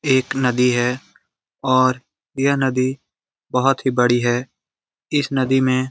एक नदी है और यह नदी बहुत ही बड़ी है और इस नदी में --